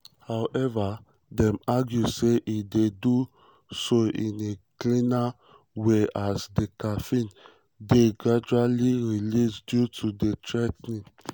however dem argue say e dey dey do so in a "cleaner" way as di caffeine dey gradually released due to di l-theanine.